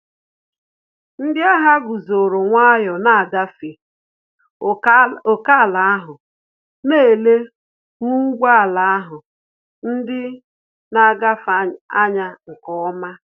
Ndị agha guzoro nwayọ na ngafe ókèala ahụ, na ele ru ụgbọ ala ndị na-agafe anya nke ọma